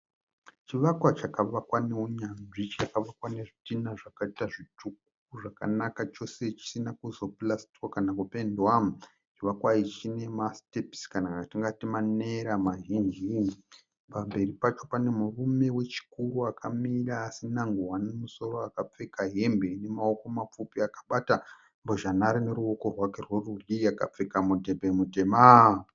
Chivakwa chakavakwa neunyanzvi chakavakwa nezvitinha zvakaita zvitsvuku zvakanaka chose chisina kuzopurasitiwa kana kupendiwa, chivakwa ichi chine masitepusi kana atingati manera mazhinji, pamberi pacho pane murume wechikuru akamira asina ngowani mumusoro akapfeka hembe inemaoko mapfupi akabata mbozhanhare neruoko rwake rwerudyi akapfeka mudhebhe mutema.